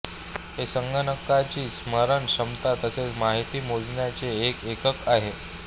हे संगणकाची स्मरण क्षमता तसेच माहिती मोजण्याचे एक एकक आहे